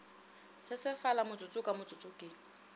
sesefala motsotso ka motsotso ke